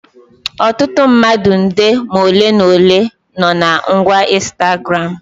Ọtụtụ mmadụ nde ma ole ma ole no na ngwa Ịnstagramụ